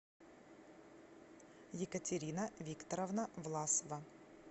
екатерина викторовна власова